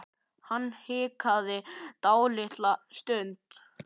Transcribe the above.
Hann hikaði dálitla stund.